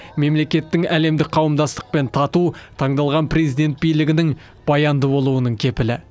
мемлекеттің әлемдік қауымдастықпен тату таңдалған президент билігінің баянды болуының кепілі